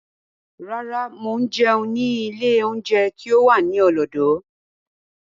Rárá, mo ń jẹun ni ilé oúnjẹ tí ó wà ní olódó.